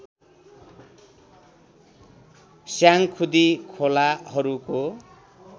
Syangkhudi खोलाहरूको